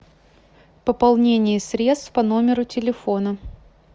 пополнение средств по номеру телефона